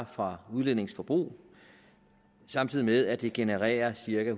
fra udlændinges forbrug samtidig med at det genererede cirka